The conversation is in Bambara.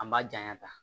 An b'a janya ta